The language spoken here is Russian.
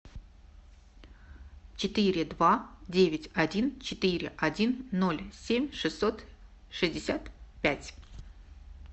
четыре два девять один четыре один ноль семь шестьсот шестьдесят пять